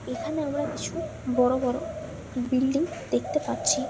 এখানে আমরা কিছু বড়ো বড়ো বিল্ডিং দেখতে পাচ্ছি-ই ।